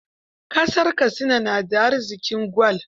Kasar Katsina na da arziƙin gwal.